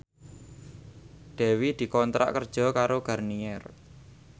Dewi dikontrak kerja karo Garnier